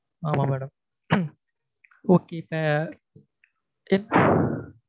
ஆமா madam okay